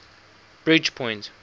bridgepoint